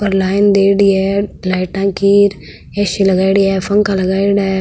और लाइन दीएडी है लाइटा की ए.सी. लगाईड़ी है पंखा लगाईड़ा है।